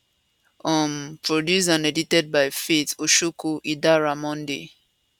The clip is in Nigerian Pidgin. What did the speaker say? um produced and edited by faith oshoko idara monday